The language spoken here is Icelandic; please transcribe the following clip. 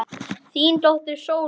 Þín dóttir Sóley.